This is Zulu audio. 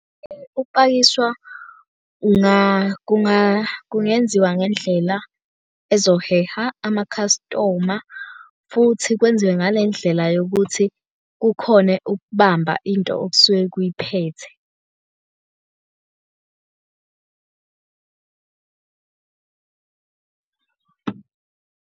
Ukupakishwa kungenziwa ngendlela ezoheha amakhastoma futhi kwenziwe ngale ndlela yokuthi kukhone ukubamba into okusuke kuyiphethe.